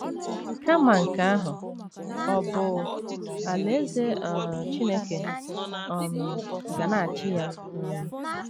Kama nke ahụ, ọ bụ Alaeze um Chineke um ga na - achị ya. um